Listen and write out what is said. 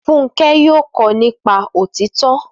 Fúnkẹ́ yóò kọ nípa òtítọ́